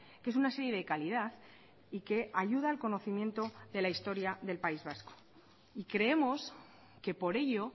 que es una serie de calidad y que ayuda al conocimiento de la historia del país vasco y creemos que por ello